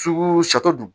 Fuku sato dun